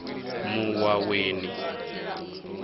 muwaweni